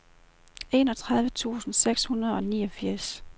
enogtredive tusind seks hundrede og niogfirs